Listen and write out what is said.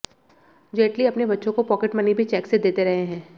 जेटली अपने बच्चों को पॉकेटमनी भी चेक से देते रहे हैं